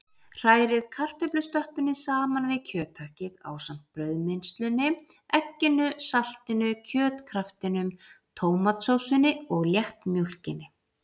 Hrærið kartöflustöppunni saman við kjöthakkið ásamt brauðmylsnunni, egginu, saltinu, kjötkraftinum, tómatsósunni og léttmjólkinni.